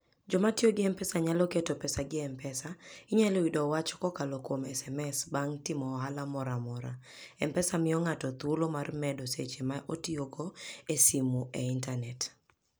Joma tiyo gi M-Pesa nyalo keto pesagi e M-Pesa. Inyalo yudo wach kokalo kuom SMS bang' timo ohala moro amora. M-Pesa miyo ng'ato thuolo mar medo seche ma otiyogo e simo e intanet.